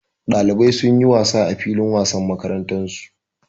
Ɗalibai sun yi wasa a filin wasan makarantarsu.